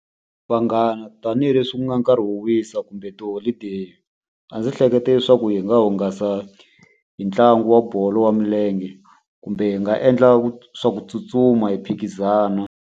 Vanghana tanihileswi ku nga nkarhi wo wisa kumbe tiholideyi, a ndzi hlekete leswaku hi nga hungasa hi ntlangu wa bolo ya milenge. Kumbe hi nga endla swa ku tsutsuma hi phikizana.